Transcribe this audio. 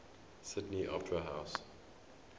sydney opera house